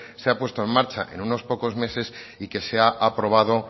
se ha puesto en marcha en unos pocos meses y que se ha aprobado